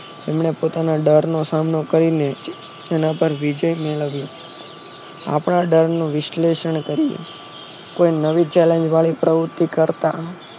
એમને પોતાને ડર નો સામનો કરી લે છે નહિતર વિજય મેળવી આપણા ડર નો વિશ્લેષણ કરી લે કોઈ નવી chalange વાળી વસ્તુ કરતા નહી